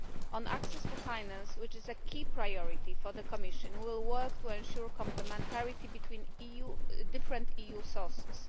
On access to finance, which is a key priority for the Commission, we will work to ensure complementarity between different EU sources.